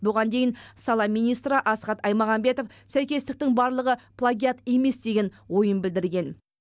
бұған дейін сала министрі асхат аймағамбетов сәйкестіктің барлығы плагиат емес деген ойын білдірген